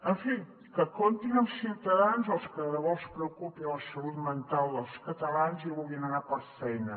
en fi que comptin amb ciutadans als que de debò els preocupi la salut mental dels catalans i vulguin anar per feina